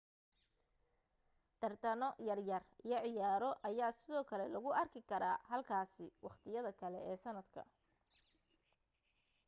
tartano yar yar iyo ciyaaro ayaa sidoo kale lagu arki karaa halkaasi wakhtiyada kale ee sanadka